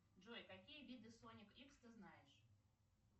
джой какие виды соник икс ты знаешь